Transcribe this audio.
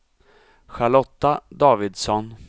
Charlotta Davidsson